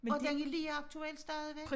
Og den er lige aktuel stadigvæk